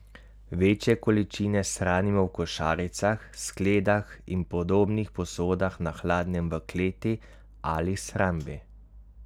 Večje količine shranimo v košaricah, skledah in podobnih posodah na hladnem v kleti ali shrambi.